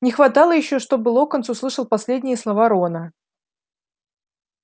не хватало ещё чтобы локонс услышал последние слова рона